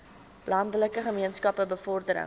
landelike gemeenskappe bevordering